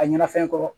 A ɲɛna fɛn kɔrɔ